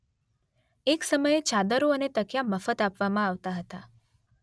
એક સમયે ચાદરો અને તકિયા મફત આપવામાં આવતા હતા